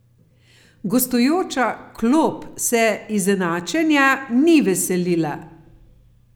Gostujoča klop se izenačenja ni veselila.